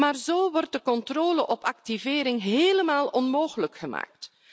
Maar zo wordt de controle op activering helemaal onmogelijk gemaakt.